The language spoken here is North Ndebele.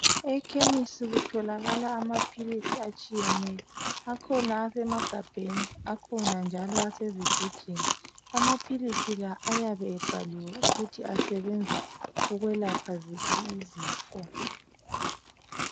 Ekhemisi kutholakala amaphilisi atshiyeneyo, akhona esamagabheni akhona njalo asezigujini. Amaphilisi la ayabe ebhaliwe ukuthi asebenza ukwelapha ziphi izifo.